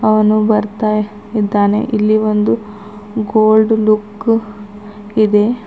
ಅವನು ಬರ್ತಾಯಿದ್ದಾನೆ ಇಲ್ಲಿ ಒಂದು ಗೊಲ್ಡ್ ಲುಕ್ ಇದೆ.